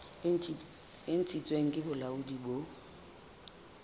e ntshitsweng ke bolaodi bo